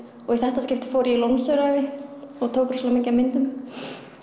og í þetta skiptið fór ég í Lónsöræfi og tók rosalega mikið af myndum